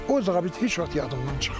O zabit heç vaxt yadımdan çıxmır.